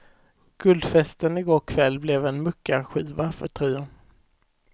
Guldfesten igår kväll blev en muckarskiva för trion.